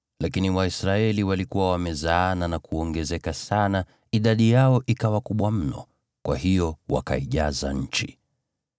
lakini Waisraeli walikuwa wamezaana na kuongezeka sana, idadi yao ikawa kubwa mno, kwa hiyo wakaijaza nchi.